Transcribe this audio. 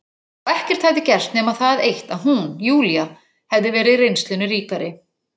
Og ekkert hefði gerst nema það eitt að hún, Júlía, hefði verið reynslunni ríkari.